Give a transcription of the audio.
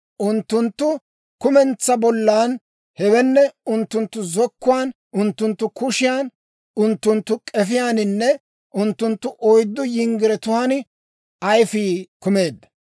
Unttunttu kumentsaa bollan, hewenne unttunttu zokkuwaan, unttunttu kushiyan, unttunttu k'efiyaaninne unttunttu oyddu yinggiretiyaawanttun ayifii kumeedda.